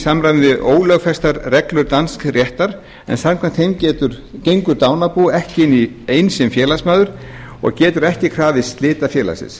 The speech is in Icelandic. samræmi við ólögfestar reglur dansks réttar en samkvæmt þeim gengur dánarbú ekki inn sem félagsmaður og getur ekki krafist slita félagsins